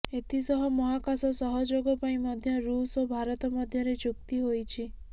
ଏଥିସହ ମହାକାଶ ସହଯୋଗ ପାଇଁ ମଧ୍ୟ ରୁଷ୍ ଓ ଭାରତ ମଧ୍ୟରେ ଚୁକ୍ତି ହୋଇଛି